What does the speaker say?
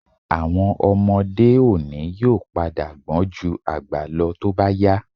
Àwọn ọmọdé òní yóò padà gbọ́n ju àgbà lọ tó bá yá